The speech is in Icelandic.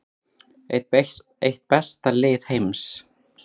Eitt besta lið heims